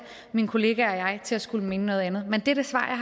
min kollegaer og mig til at skulle mene noget andet men det er det svar